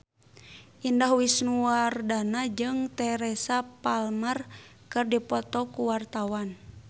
Indah Wisnuwardana jeung Teresa Palmer keur dipoto ku wartawan